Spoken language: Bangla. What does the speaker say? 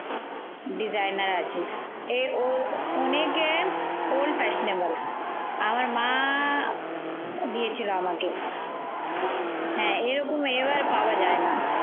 designer আছে এ অ অনেকে old fashionable. আমার মা দিয়েছিল আমাকে। হ্যা এরকম এভাবে পাওয়া যায় না।